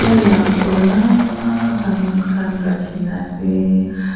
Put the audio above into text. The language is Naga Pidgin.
la puranaaaa saman khan rakhina ase--